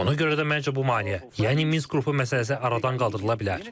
Ona görə də, məncə, bu maneə, yəni Minsk qrupu məsələsi aradan qaldırıla bilər.